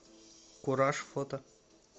кураж фото